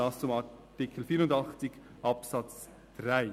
Dies zu Artikel 84 Absatz 3.